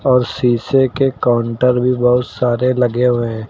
और शीशे के काउंटर भी बहुत सारे लगे हुए हैं।